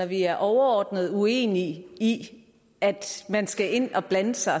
vi er overordnet uenige i at man skal ind og blande sig